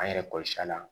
An yɛrɛ kɔlɔsi la